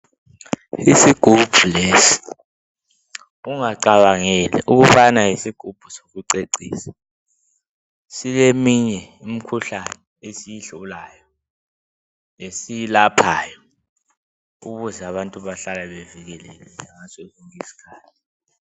Isigubhu lesi ungacabangeli ukubana yisigubhu sokucecisa sileminye imikhuhlane esiyihlolayo lesiyilaphayo ukuze abantu behlale bevikelekile ngaso sonke isikhathi